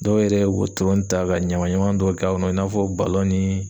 Dɔw yɛrɛ wotoroni ta ka ɲama ɲaman dɔw k'a kɔnɔ i n'a fɔ ni